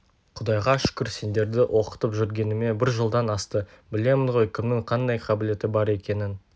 құдайға шүкір сендерді оқытып жүргеніме бір жылдан асты білемін ғой кімнің қандай қабілеті бар екенін